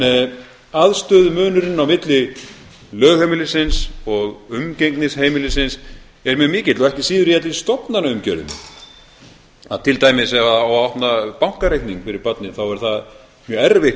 að vera en aðstöðumunurinn á milli lögheimilisins og umgengnisheimilisins er mjög mikill og ekki síður jafnvel stofnanaumgjörðin til dæmis ef á að opna bankareikning fyrir barnið þá er það mjög erfitt